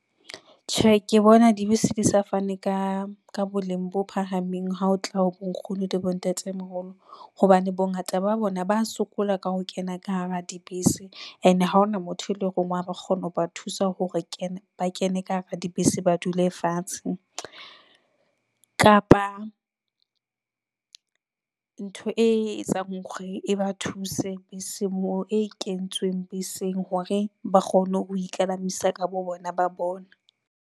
Tjhe, ke bona dibese di sa fane ka ka boleng bo phahameng. Ha o tla bonkgono le bontate moholo hobane bongata ba bona ba a sokola ka ho kena ka hara dibese ene ha hona motho e leng wa kgona ho ba thusa ho re kena ba kene ka hara dibese, ba dule fatshe kapa, ntho e etsang hore e ba thuse beseng moo e kentsweng beseng hore ba kgone ho ikalamisa ka bo bona ba bona.